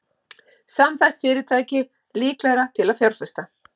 Samþætt fyrirtæki líklegra til að fjárfesta